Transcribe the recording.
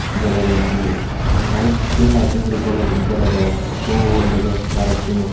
Jolodon dole balukkun lighting guri jolodon dol dege barottun o.